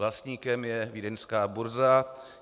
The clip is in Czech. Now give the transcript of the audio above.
Vlastníkem je vídeňská burza.